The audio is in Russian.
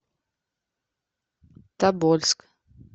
тобольск